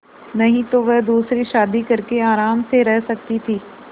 नहीं तो वह दूसरी शादी करके आराम से रह सकती थ